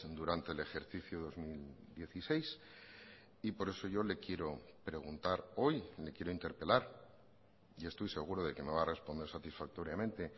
durante el ejercicio dos mil dieciséis y por eso yo le quiero preguntar hoy le quiero interpelar y estoy seguro de que me va a responder satisfactoriamente